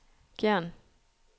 Gjern